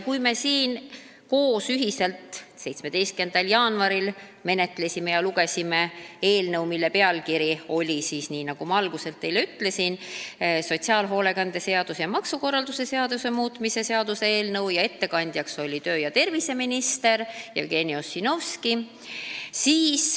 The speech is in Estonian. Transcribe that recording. Kui me siin 17. jaanuaril ühiselt eelnõu menetlesime ja lugesime, siis oli selle pealkiri, nii nagu ma alguses teile ütlesin, sotsiaalhoolekande seaduse ja maksukorralduse seaduse muutmise seaduse eelnõu, ning ettekandjaks oli tervise- ja tööminister Jevgeni Ossinovski.